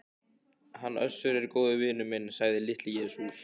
Hann Össur er góður vinur minn, sagði Litli-Jesús.